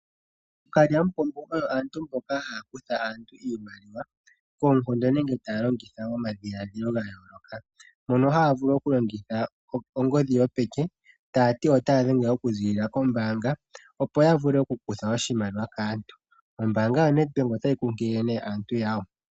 OoKalyamupombo oyo aantu mboka haa kutha aantu iimaliwa, koonkondo nenge taya longitha omadhiladhilo ga yooloka, mpono haya vulu okulongitha ongodhi yopeke taya to otaya dhenge okuziilila kombaanga, opo ya vule okukutha oshimaliwa kaantu. Ombaanga yoNedbank otayi kunkilile aantu yawo.